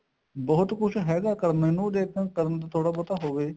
ਬਹੁਤ ਕੁੱਝ ਹੈਗਾ ਕਰਨ ਨੂੰ ਥੋੜਾ ਬਹੁਤਾ ਹੋਵੇ